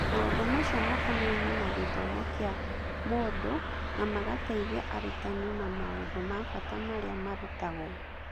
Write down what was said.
Maũndũ macio makonainie na gĩthomo kĩa mũndũ na magateithia arutani na maũndũ ma bata marĩa marutagwo.